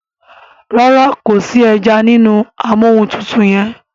ràrá kò sí ejanínú Amóhuntutù yén.